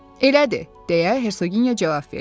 Elədi, deyə Hersoginya cavab verdi.